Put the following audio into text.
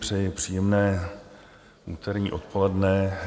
Přeji příjemné úterní odpoledne.